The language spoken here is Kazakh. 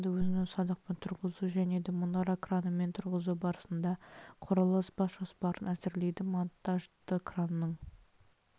нысанды өзін-өзі садақпен тұрғызу және де мұнара кранымен тұрғызу барысында құрылыс бас жоспарын әзірлейді монтажды кранның